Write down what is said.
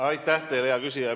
Aitäh teile, hea küsija!